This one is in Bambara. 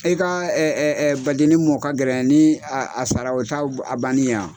E ka ba denni mɔ ka gɛlɛ ni a a sara o t'a a banni ye wa.